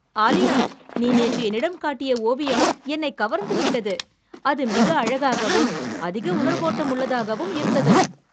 ஆலியா, நீ நேற்று என்னிடம் காட்டி ஓவியம் என்னைக் கவர்ந்து விட்டது. அது மிக அழகாகவும், அதிக உணர்வோட்டமுள்ளதாகவும் இருந்தது.